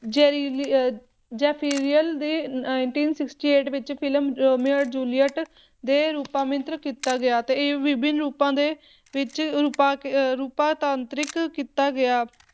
ਜੇਰੀਲੀ ਅਹ ਜ਼ੇਫਿਰੇਲੀ ਦੀ nineteen sixty eight ਵਿੱਚ ਫਿਲਮ ਰੋਮੀਓ ਔਰ ਜੂਲੀਅਟ ਦੇ ਰੁਪਾਮੰਤ੍ਰ ਕੀਤਾ ਗਿਆ ਤੇ ਇਹ ਵਿਭਿੰਨ ਰੂਪਾਂ ਦੇ ਵਿੱਚ ਰੁਪਾ ਅਹ ਰੂਪਾਂਤਰਿਤ ਕੀਤਾ ਗਿਆ